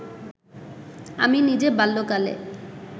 আমি নিজে বাল্যকালে